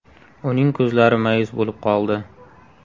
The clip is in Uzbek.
Uning ko‘zlari ma’yus bo‘lib qoldi.